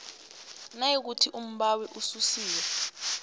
nayikuthi umbawi ususiwe